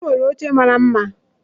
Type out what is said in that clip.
O nwere oche mara mma